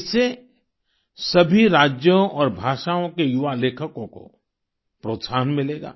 इससे सभी राज्यों और भाषाओं के युवा लेखकों को प्रोत्साहन मिलेगा